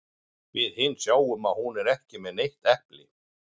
Við hin sjáum að hún er ekki með neitt epli.